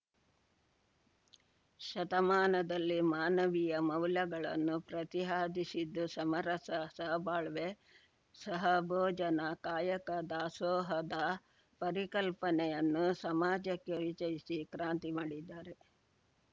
ಶತಮಾನದಲ್ಲಿ ಮಾನವೀಯ ಮೌಲ್ಯಗಳನ್ನು ಪ್ರತಿಹಾದಿಸಿದ್ದು ಸಮರಸ ಸಹಬಾಳ್ವೆ ಸಹಭೋಜನ ಕಾಯಕ ದಾಸೋಹದ ಪರಿಕಲ್ಪನೆಯನ್ನು ಸಮಾಜಕ್ಕೆ ಪರಿಚಯಿಸಿ ಕ್ರಾಂತಿ ಮಾಡಿದ್ದಾರೆ